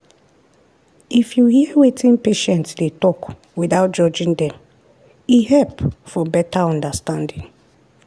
if you hear wetin patients dey talk without judging dem e help for better understanding.